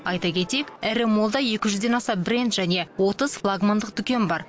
айта кетейік ірі моллда екі жүзден аса бренд және отыз флагмандық дүкен бар